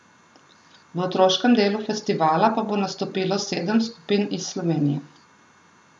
V otroškem delu festivala pa bo nastopilo sedem skupin iz Slovenije.